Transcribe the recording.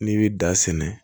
N'i bɛ da sɛnɛ